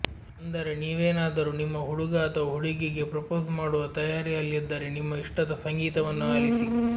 ಅಂದರೆ ನೀವೇನಾದರೂ ನಿಮ್ಮ ಹುಡುಗ ಅಥವಾ ಹುಡುಗಿಗೆ ಪ್ರಪೋಸ್ ಮಾಡುವ ತಯಾರಿಯಲ್ಲಿದ್ದರೆ ನಿಮ್ಮ ಇಷ್ಟದ ಸಂಗೀತವನ್ನು ಆಲಿಸಿ